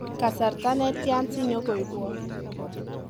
kasarta netyan sinyonkoibwon